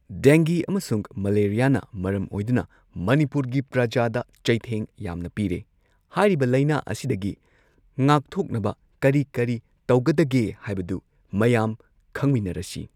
ꯗꯦꯡꯒꯤ ꯑꯃꯁꯨꯡ ꯃꯦꯂꯔꯤꯌꯥꯅ ꯃꯔꯝ ꯑꯣꯏꯗꯨꯅ ꯃꯅꯤꯄꯨꯔꯒꯤ ꯄ꯭ꯔꯖꯥꯗ ꯆꯩꯊꯦꯡ ꯌꯥꯝꯅ ꯄꯤꯔꯦ ꯍꯥꯏꯔꯤꯕ ꯂꯥꯏꯅꯥ ꯑꯁꯤꯗꯒꯤ ꯉꯥꯛꯊꯣꯛꯅꯕ ꯀꯔꯤ ꯀꯔꯤ ꯇꯧꯒꯗꯒꯦ ꯍꯥꯏꯕꯗꯨ ꯃꯌꯥꯝ ꯈꯪꯃꯤꯟꯅꯔꯁꯤ꯫